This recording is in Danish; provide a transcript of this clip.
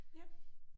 Ja